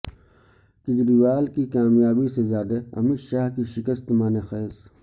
کیجریوال کی کامیابی سے زیادہ امیت شاہ کی شکست معنی خیز